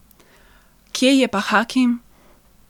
Kje je pa Hakim?